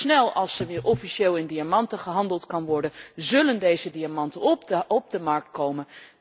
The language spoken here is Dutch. Zo snel als er weer officieel in diamanten gehandeld kan worden, zullen deze diamanten op de markt komen.